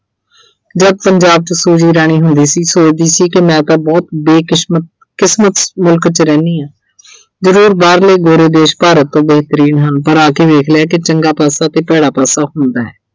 ਜਦ ਪੰਜਾਬ 'ਚ Suji ਰਹਿੰਦੀ ਹੁੰਦੀ ਸੀ, ਸੋਚਦੀ ਸੀ ਕਿ ਮੈਂ ਤਾਂ ਬਹੁਤ ਬੇਕਿਸਮਤ ਅਹ ਕਿਸਮਤ ਮੁਲ਼ਕ 'ਚ ਰਹਿਣੀ ਆਂ। ਜ਼ਰੂਰ ਬਾਹਰਲੇ ਗੋਰੇ ਦੇਸ਼ ਭਾਰਤ ਤੋਂ ਬਿਹਤਰੀਨ ਹਨ ਪਰ ਆ ਕਿ ਵੇਖ ਲਿਆ ਕਿ ਚੰਗਾ ਪਾਸਾ ਤੇ ਭੈੜਾ ਪਾਸਾ ਹੁੰਦਾ।